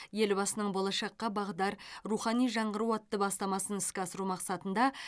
елбасының болашаққа бағдар рухани жаңғыру атты бастамасын іске асыру мақсатында